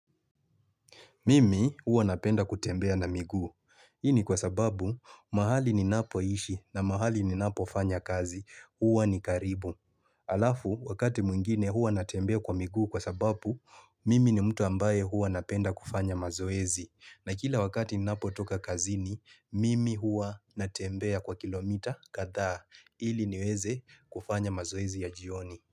Mimi huwa napenda kutembea na miguu. Hii ni kwa sababu mahali ninapo ishi na mahali ninapo fanya kazi. Uwa ni karibu. Alafu wakati mwingine huwa natembea kwa miguu kwa sababu Mimi ni mtu ambaye huwa napenda kufanya mazoezi. Na kila wakati ni napo toka kazi ni Mimi huwa natembea kwa kilomita kadhaa ili niweze kufanya mazoezi ya jioni.